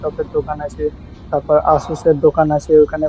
Laptop -এর দোকান আছে তারপর আসুস -এর দোকান আছে। ওইখানে --